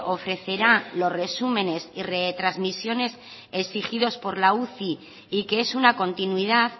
ofrecerá los resúmenes y retransmisiones exigidos por la uci y que es una continuidad